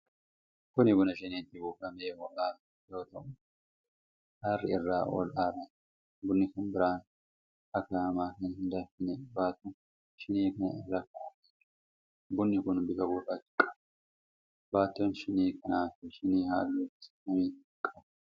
Kun buna shiniitti buufamee ho'aa yoo ta'u, aarri irraa ol aaraa jira. Bunni kan biraan akaahamaan kan hin danfin baattu shinii kanaa irra kaa'amee jira. Bunni kuni bifa gurraacha qaba. Baattoon shinii kanaa fi shiniin halluu gosa kamii qabu?